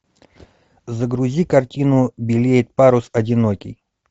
загрузи картину белеет парус одинокий